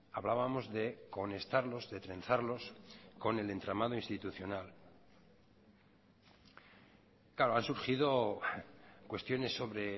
hablábamos de conectarlos de trenzarlos con el entramado institucional claro han surgido cuestiones sobre